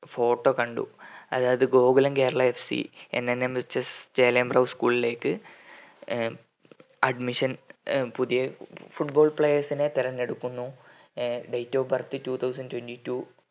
photo കണ്ടുഅതായത് Gokulam Kerala FCNNMHS Chelembra school ലേക്ക് ഏർ admission ഏ പുതിയ football players നെ തെരഞ്ഞെടുക്കുന്നു ഏർ date of birth two thousand twenty two